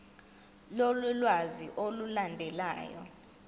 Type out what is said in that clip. lolu lwazi olulandelayo